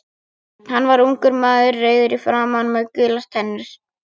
Hann var ungur maður, rauður í framan með gular tennur.